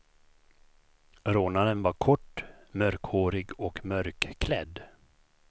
Rånaren var kort, mörkhårig och mörkklädd.